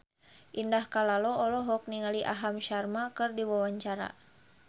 Indah Kalalo olohok ningali Aham Sharma keur diwawancara